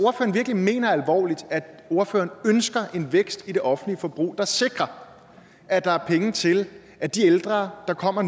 ordføreren ønsker en vækst i det offentlige forbrug der sikrer at der er penge til at de ældre der kommer